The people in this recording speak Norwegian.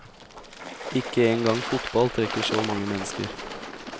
Ikke en gang fotball trekker så mange mennesker.